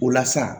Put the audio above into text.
O la sa